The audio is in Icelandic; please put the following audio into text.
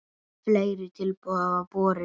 Fleiri tilboð hafa borist.